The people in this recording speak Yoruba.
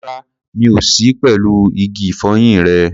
Rárá, mi ò sí pẹ̀lú igi ìfọyín rẹ.